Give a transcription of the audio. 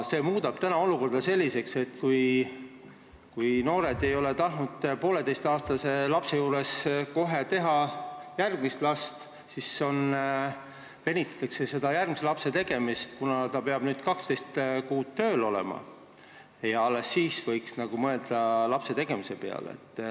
See muudab olukorra selliseks, et kui noored ei ole tahtnud poolteiseaastase lapsega kohe järgmist last teha, siis nüüd venitatakse seda järgmise lapse tegemist, kuna peab 12 kuud tööl olema ja alles siis võiks mõelda lapsetegemise peale.